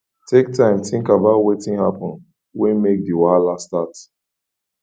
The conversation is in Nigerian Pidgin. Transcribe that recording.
take time think about wetin happen wey make di wahala start